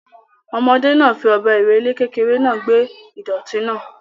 Ọmọdé náà fi ọ̀bẹ ìrẹ́le kékeré náà gbẹ́ ìdọ̀tí náà.